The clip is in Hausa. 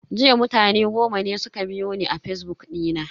Jiya mutane goma ne suka biyo ni a fazbuk dina.